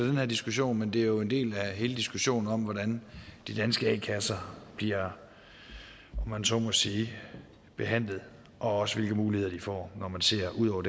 den her diskussion men det er jo en del af hele diskussionen om hvordan de danske a kasser bliver om man så må sige behandlet og også hvilke muligheder de får når man ser ud over